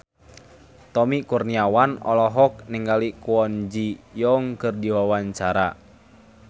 Tommy Kurniawan olohok ningali Kwon Ji Yong keur diwawancara